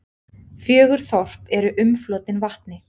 Fjögur þorp eru umflotin vatni.